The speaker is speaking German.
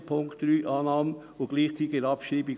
Bei Punkt 3: Annahme und gleichzeitige Abschreibung.